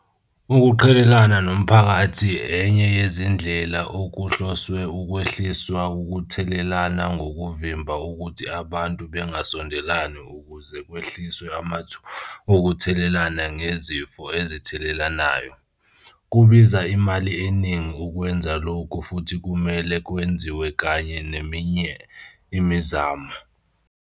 Ukuqhelelana nomphakathi enye yezindlela okuhloswe ukwehliswa ukuthelelana ngokuvimba ukuthi abantu bengasondelani ukuze kwehliswe amathuba okuthelelana ngezifo ezithelelanayo. Kubiza imali eningi ukwenza lokhu futhi kumele kwenziwe kanye neminye imizamo.